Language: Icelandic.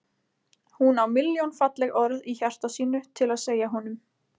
Hún á milljón falleg orð í hjarta sínu til að segja honum.